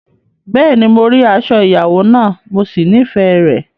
Bẹ́ẹ̀ni, mo rí aṣọ ìyàwó náà, mo sì nífẹ̀ẹ́ rẹ̀.